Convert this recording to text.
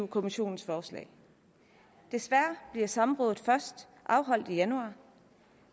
kommissionens forslag desværre bliver samrådet først afholdt i januar